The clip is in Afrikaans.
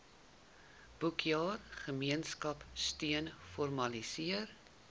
boekjaar gemeenskapsteun formaliseer